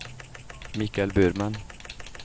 Mikael Burman